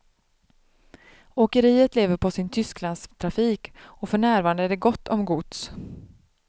Åkeriet lever på sin tysklandstrafik och för närvarande är det gott om gods.